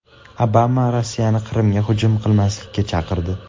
Obama Rossiyani Qrimga hujum qilmaslikka chaqirdi.